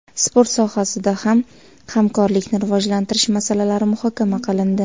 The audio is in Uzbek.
Sport sohasida ham hamkorlikni rivojlantirish masalalari muhokama qilindi.